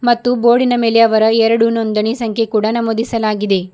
ಮತ್ತು ಬೋರ್ಡಿ ನ ಮೇಲೆ ಅವರ ಎರಡು ನೊಂದಣಿ ಸಂಖ್ಯೆ ಕೂಡ ನಮೂದಿಸಲಾಗಿದೆ.